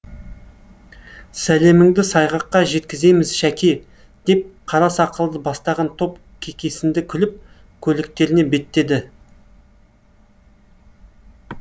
сәлеміңді сайғаққа жеткіземіз шәке деп қара сақалды бастаған топ кекесінді күліп көліктеріне беттеді